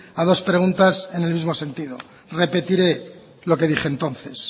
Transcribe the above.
a dos preguntas en el mismo sentido repetiré lo que dije entonces